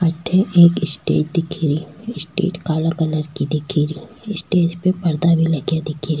अठे एक स्टेज दिख री स्टेज का रंग काला कलर को दिख रि स्टेज पे पर्दा भी लगा दिख रा।